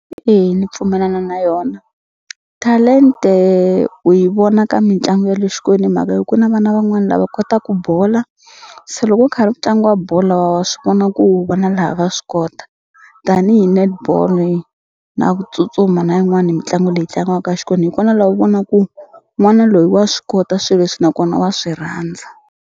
Eya ni pfumelana na yona talente u yi vona ka mitlangu ya le hi mhaka ya ku na vana van'wani lava kotaku bola se loko ku karhi ku tlangiwa bolo wa swi vona ku vana lava swi kota tanihi netball-i na ku tsutsuma na yin'wani mitlangu leyi tlangiwaka hi kona laha u vonaku n'wana loyi wa swi kota swi leswi nakona wa swi rhandza.